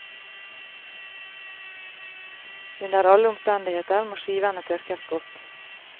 Under alle omstendigheter må skivene tørkes godt.